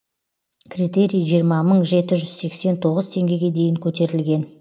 критерий жиырма мың жеті жүз сексен тоғыз теңгеге дейін көтерілген